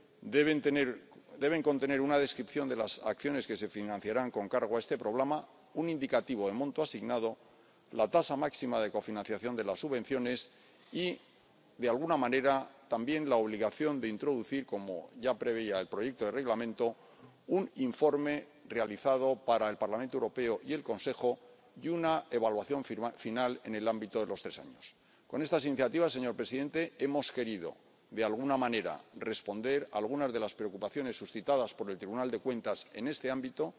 Hemos previsto que se incluya una descripción de las acciones que se financiarán con cargo a este Programa, un indicativo del monto asignado, la tasa máxima de cofinanciación de las subvenciones y, de alguna manera, también la obligación de introducir, como ya preveía el proyecto de Reglamento, un informe realizado para el Parlamento Europeo y el Consejo, y una evaluación final al cabo de los tres años. Con estas iniciativas, señor presidente, hemos querido, de alguna manera, responder a algunas de las preocupaciones suscitadas por el Tribunal de Cuentas en este ámbito.